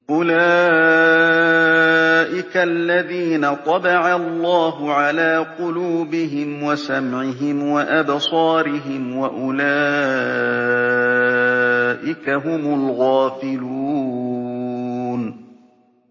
أُولَٰئِكَ الَّذِينَ طَبَعَ اللَّهُ عَلَىٰ قُلُوبِهِمْ وَسَمْعِهِمْ وَأَبْصَارِهِمْ ۖ وَأُولَٰئِكَ هُمُ الْغَافِلُونَ